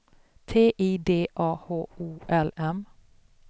T I D A H O L M